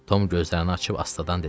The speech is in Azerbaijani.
Tom gözlərini açıb astadan dedi: